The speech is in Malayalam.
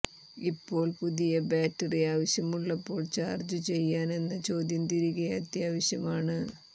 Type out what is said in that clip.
ഇപ്പോൾ പുതിയ ബാറ്ററി ആവശ്യമുള്ളപ്പോൾ ചാർജ് ചെയ്യാൻ എന്ന ചോദ്യം തിരികെ അത്യാവശ്യമാണ്